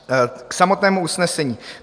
K samotnému usnesení.